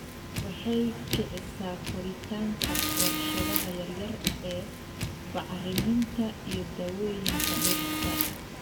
Waxay kicisaa koritaanka warshadaha yaryar ee bacriminta iyo daawooyinka dhirta.